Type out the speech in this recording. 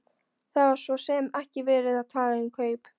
Það var svo sem ekki verið að tala um kaup.